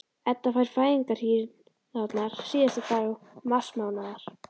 Edda fær fæðingarhríðarnar síðasta dag marsmánaðar.